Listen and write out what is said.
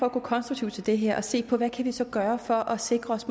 at gå konstruktivt til det her og se på hvad vi så kan gøre for at sikre